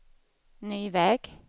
ny väg